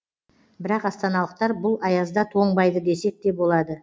бірақ астаналықтар бұл аязда тоңбайды десек те болады